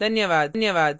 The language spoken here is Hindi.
धन्यवाद